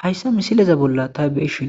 Hayssa misileza bolla taybeshin